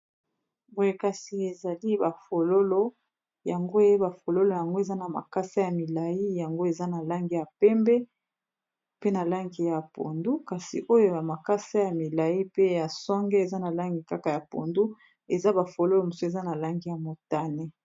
Boye kasi ezali ba fololo yango ba fololo yango eza na makasa ya milayi yango eza na langi ya pembe pe na langi ya pondu kasi oyo ya makasa ya milayi pe ya songe eza na langi kaka ya pondu eza ba fololo mosusu eza na langi ya motane.